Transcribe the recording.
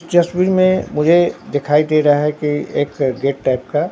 तस्वीर में मुझे दिखाई दे रहा है कि एक गेट टाइप का--